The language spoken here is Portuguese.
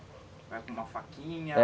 É com uma faquinha? É...